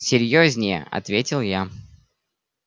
серьёзнее ответил я